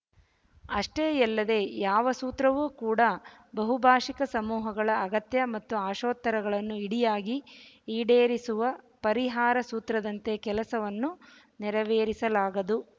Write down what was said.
ಅಷ್ಟೇ ಯಲ್ಲದೆ ಯಾವ ಸೂತ್ರವು ಕೂಡ ಬಹುಭಾಷಿಕ ಸಮೂಹಗಳ ಅಗತ್ಯ ಮತ್ತು ಆಶೋತ್ತರಗಳನ್ನು ಇಡಿಯಾಗಿ ಈಡೇರಿಸುವ ಪರಿಹಾರ ಸೂತ್ರದಂತೆ ಕೆಲಸವನ್ನು ನೆರವೇರಿಸಲಾಗದು